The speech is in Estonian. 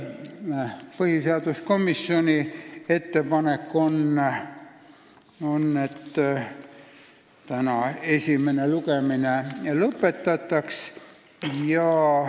Põhiseaduskomisjoni ettepanek on, et täna esimene lugemine lõpetataks.